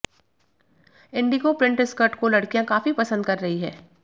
Indigo print skirt को लड़कियां काफी पसंद कर रही हैं